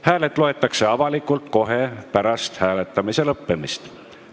Hääled loetakse avalikult kohe pärast hääletamise lõppemist.